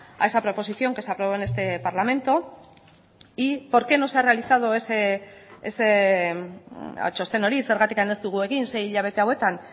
a esa proposición que se aprobó en este parlamento y por qué no se ha realizado txosten hori zergatik ez dugu egin sei hilabete hauetan